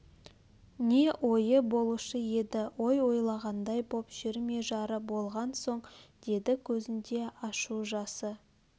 не ойы болушы еді ой ойлағандай боп жүр ме жары болған соң деді көзінде ашу жасы